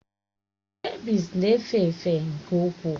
Skebiịs na-efe efe nke ukwuu